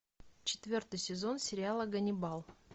четвертый сезон сериала ганнибал